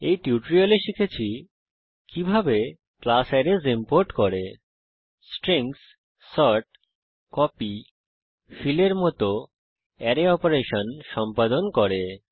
এই টিউটোরিয়ালে আমরা শিখেছি কিভাবে ক্লাস অ্যারেস ইম্পোর্ট করে স্ট্রিংস সর্ট কপি ফিল এর মত অ্যারে অপারেশন সম্পাদন করে